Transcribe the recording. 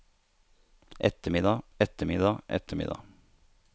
eftermiddag eftermiddag eftermiddag